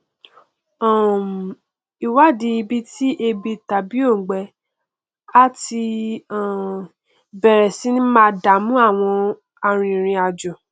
um ìwádìí ibi ti ebi tàbí òngbẹ á ti um bẹrẹ sí ní máa dàmú àwọn arinrìnàjò